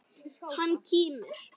Hann kímir.